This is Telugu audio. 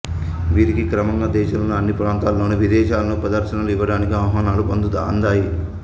వీరికి క్రమంగా దేశంలోని అన్ని ప్రాంతాలలోను విదేశాలలోను ప్రదర్శనలు ఇవ్వడానికి ఆహ్వానాలు అందాయి